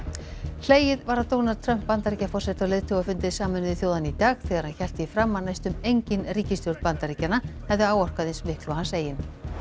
hlegið var að Donald Trump Bandaríkjaforseta á leiðtogafundi Sameinuðu þjóðanna í dag þegar hann hélt því fram að næstum engin ríkisstjórn Bandaríkjanna hefði áorkað eins miklu og hans eigin